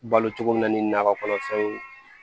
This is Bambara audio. Balo cogo min na ni nakɔ kɔnɔfɛnw